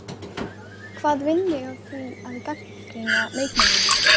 Hvað vinn ég á því að gagnrýna leikmennina?